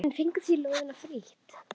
En fenguð þið lóðina frítt?